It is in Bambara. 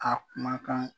A kumakan